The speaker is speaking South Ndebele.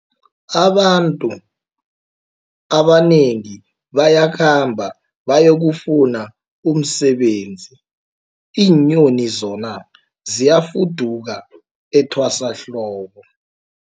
Abantu abanengi bayakhamba bayokufuna umsebenzi, iinyoni zona ziyafuduka etwasahlobo.